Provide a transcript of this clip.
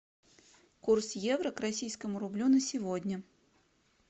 курс евро к российскому рублю на сегодня